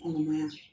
Kɔnɔmaya